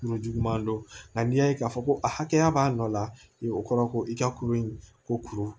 Yɔrɔ juguman don nka n'i y'a ye k'a fɔ ko a hakɛya b'a nɔ la i kɔrɔ ko i ka kuru in ko kuru